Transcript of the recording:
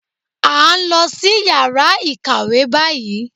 À ń lọ sí yàrá ìkàwé báyìí